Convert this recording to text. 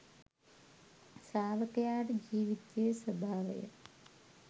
ශ්‍රාවකයාට ජීවිතයේ ස්වභාවය